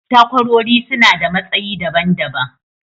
takwarori suna da matsayi daban daban.